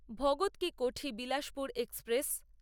Bhagat ki Kothi Bilaspur express